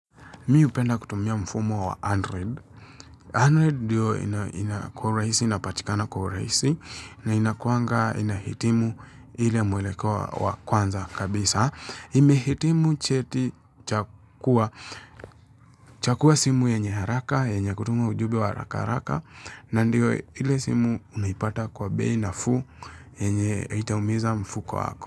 Mi hupenda kutumia mfumo wa Android. Android ndio ina kwa uraisi inapatikana kwquraisi na inakuwanga inahitimu ile mwelekeo wa kwanza kabisa. Imehitimu cheti cha kuwa simu yenye haraka, yenye kutuma ujube wa haraka haraka na ndiyo ile simu unipata kwa bei naafu yenye itaumiza mfuko wako.